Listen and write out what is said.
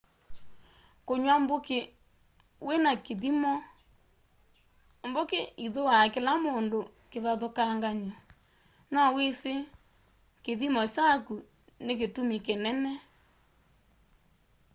kũnywa mbũkĩ wĩna kĩthĩmo mbũkĩ ĩthũa kĩla mũndũ kĩvathũkang'anyo na wĩsĩ kĩthĩmo chakũ nĩ kĩtũmĩ kĩnene